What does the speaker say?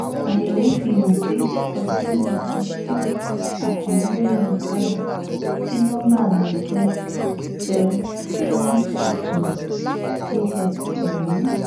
àyẹ̀wò fihàn pé ọ̀gbẹ́ni wàásiù akànnì ló ni ọ̀kadà tí nọmba rẹ̀ jẹ́ tersevenfourtwotx ọ̀hún